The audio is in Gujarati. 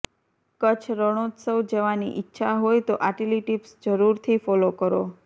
કચ્છ રણોત્સવ જવાની ઇચ્છા હોય તો આટલી ટિપ્સ જરૂરથી ફોલો કરો